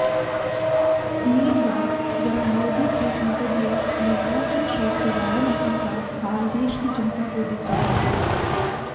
media जरा मोदी के संसदीय निवार्चन क्षेत्र वाराणसी का हाल देश की जनता को दिखाये